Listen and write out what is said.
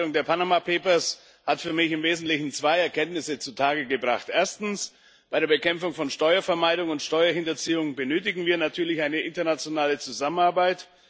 Die Aufarbeitung der Panama Papers hat für mich im Wesentlichen zwei Erkenntnisse zutage gebracht. Erstens Bei der Bekämpfung von Steuervermeidung und Steuerhinterziehung benötigen wir natürlich eine internationale Zusammenarbeit.